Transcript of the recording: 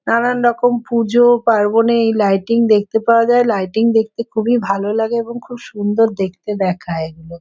নানান রকম পূজো পার্বণে এই লাইটিং দেখতে পাওয়া যায় লাইটিং দেখতে খবুই ভালো লাগে এবং খুব সুন্দর দেখতে দেখায় এগুলো ।